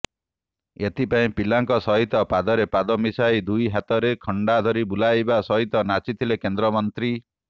ଏଥିପାଇଁ ପିଲାଙ୍କ ସହିତ ପାଦରେ ପାଦ ମିଶାଇ ଦୁଇ ହାତରେ ଖଣ୍ଡାଧରି ବୁଲାଇବା ସହିତ ନାଚିଥିଲେ କେନ୍ଦ୍ରମନ୍ତ୍ରୀ